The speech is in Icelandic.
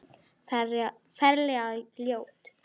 Ferlega ljót.